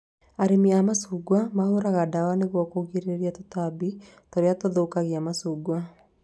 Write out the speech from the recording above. Arĩmi a macungwa mahũraga ndawa nĩguo kũgirĩrĩria tũtambi tũria tũthũkagia macungwa